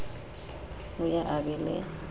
o ye a be le